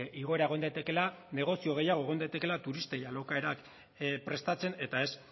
igoera egon daitekeela negozio gehiago egon daitekeela turistei alokaerak prestatzen eta ez